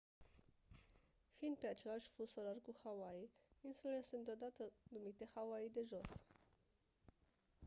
fiind pe același fus orar cu hawaii insulele sunt câteodată numite «hawaii de jos».